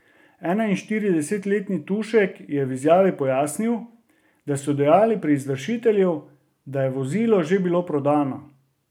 Enainštiridesetletni Tušek je v izjavi pojasnil, tako so dejali pri izvršitelju, da je vozilo že bilo prodano.